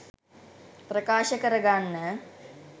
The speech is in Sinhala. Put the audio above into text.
ප්‍රකාශ කර ගන්න